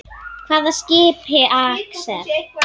Hvaða skipi, Axel?